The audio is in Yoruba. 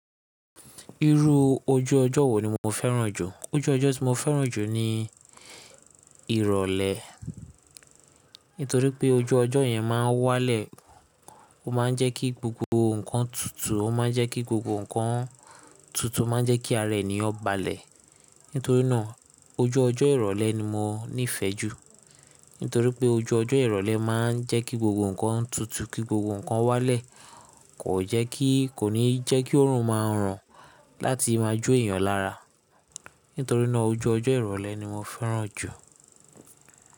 Irú ojú ọjọ́ wo ni mo fẹ́ràn jù? Ojú ọjọ́ tí mo fẹ́ràn jù ni ìrọ̀lẹ́. Nítorí pé ojú ọjọ́ yẹn máa ń wálẹ̀, ó máa ń jẹ́ kí gbogbo nkan tutù, ó máa ń jẹ́ kí gbogbo nkan tutù, ó máa ń jẹ́ kí ara ènìyàn balẹ̀. Nítorínà ojú ọjọ́ ìrọ̀lẹ́ ni mo nífẹ̀ẹ́ jù. Nítorí pé ojú ọjọ́ ìrọ̀lẹ́ máa ń jẹ́ kí gbogbo nǹkan tutù, kí gbogbo nkan wálẹ̀, kò jẹ́ kí, kò ní jẹ́ kí òórùn máa ràn láti máa jó ènìyàn lára. Nítorí nàa, ojú ọjọ́ ìrọ̀lẹ́ ni mo fẹ́ràn jù.